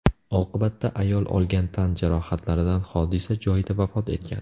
Oqibatda ayol olgan tan jarohatlaridan hodisa joyida vafot etgan.